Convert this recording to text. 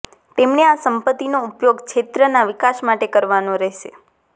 તેમણે આ સંપત્તિનો ઉપયોગ ક્ષેત્રના વિકાસ માટે કરવાનો રહેશે